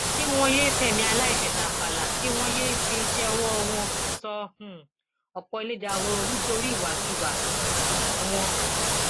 kí wọn yéé fẹmí aláìṣẹ tàfàlà kí wọn yéé fi iṣẹ ọwọ wọn sọ um ọpọ ilẹ dahoro nítorí ìwàkuwà um wọn